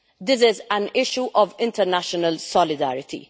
This is an issue of international solidarity.